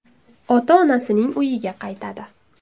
ota-onasining uyiga qaytadi.